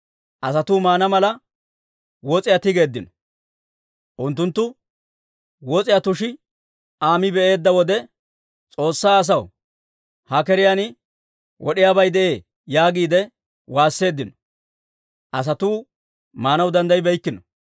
Asatuu maana mala, wos'iyaa tigeeddino. Unttunttu wos'iyaa tushi Aa mi be'eedda wode, «S'oossaa asoo, ha keriyaan wod'iyaabay de'ee!» yaagiide waasseeddino. Asatuu maanaw danddayibeykkino.